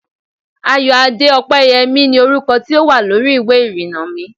Ayoade Opeyemi ni orúkọ tí ó wà lórí ìwé ìrìnnà mi